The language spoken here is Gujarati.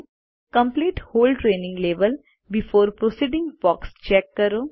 complete whole training level before proceeding box check કરો